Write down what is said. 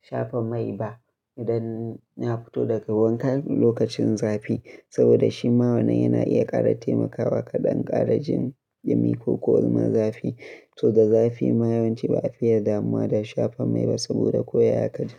shafa mai ba idan na fito daga wanka lokacin zafi. Saboda shi ma wannan yana iya ƙara taimakawa ka ɗan ƙara jin ɗumi ko kuma zafi. So da zafi ma yawanci ba a fiya damuwa da shafa mai ba saboda ko ya kaji.